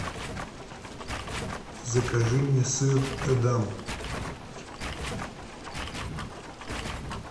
закажи мне сыр эдам